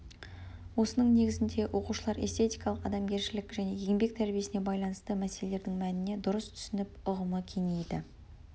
осының негізінде оқушылар эстетикалық адамгершілік және еңбек тәрбиесіне байланысты мәселелердің мәніне дұрыс түсініп ұғымы кеңиді